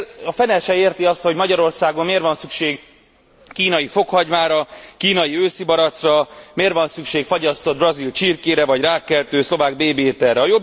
A fene se érti azt, hogy Magyarországon miért van szükség kínai fokhagymára, kínai őszibarackra, miért van szükség fagyasztott brazil csirkére vagy rákkeltő szlovák bébiételre.